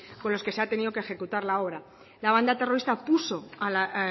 con los que se ha tenido que ejecutar la obra la banda terrorista puso a las